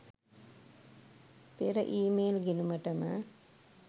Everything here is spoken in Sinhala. පෙර ඊමේල් ගිණුමට ම